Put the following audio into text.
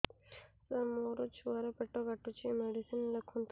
ସାର ମୋର ଛୁଆ ର ପେଟ କାଟୁଚି ମେଡିସିନ ଲେଖନ୍ତୁ